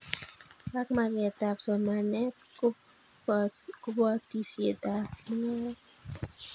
Ak magetab somanetab kobotisietab mungaret